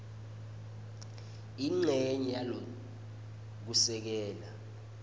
incenye yalo kusukela